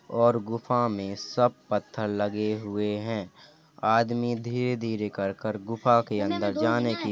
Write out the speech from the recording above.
और गुफा में सब पत्थर लगे हुए हैं। आदमी धीरे-धीरे कर कर गुफा के अंदर जाने की --